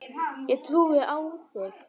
Ég trúi á þig!